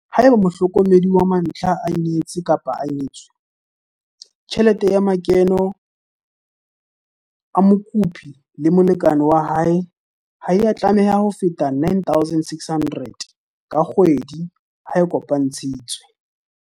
Haeba mohlokomedi wa mantlha a nyetse-nyetswe, tjhelete ya makeno a mokopi le molekane wa hae ha ya tlameha ho feta R9 600 ka kgwedi ha a kopantshitswe.